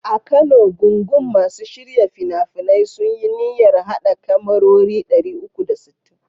A Kano, gungun masu shirya fina-finai sun yi niyyar haɗa kyamarori 360.